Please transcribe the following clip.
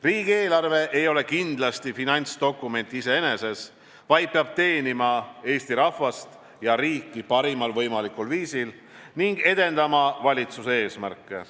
Riigieelarve ei ole kindlasti finantsdokument iseeneses, vaid peab teenima Eesti rahvast ja riiki parimal võimalikul viisil ning edendama valitsuse eesmärke.